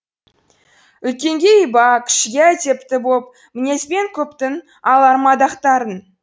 үлкенге иба кішіге әдепті бопмінезбен көптің алар мадақтарын